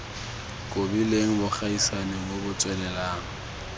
kobileng bogaisani bo bo tswelelang